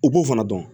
U b'o fana dɔn